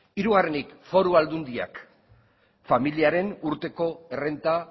hirugarrenik foru aldundiak familiaren urteko errenta